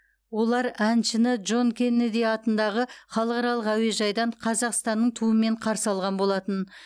олар әншіні джон кеннеди атындағы халықаралық әуежайдан қазақстанның туымен қарсы алған болатын